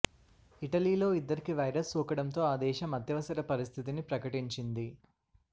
ఇటలీలో ఇద్దరికి వైరస్ సోకడంతో ఆ దేశం అత్యవసర పరిస్థితిని ప్రకటించింది